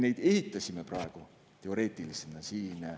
Praegu me ehitasime neid siin teoreetilisena.